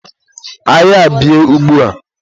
agha a bie ugbua!